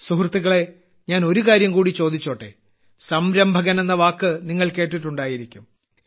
സുഹൃത്തുക്കളേ ഞാൻ ഒരു കാര്യംകൂടി ചോദിച്ചോട്ടെ സംരംഭകൻ എന്ന വാക്ക് നിങ്ങൾ കേട്ടിട്ടുണ്ടായിരിക്കും